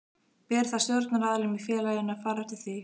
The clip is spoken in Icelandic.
Ber þá stjórnaraðilum í félaginu að fara eftir því.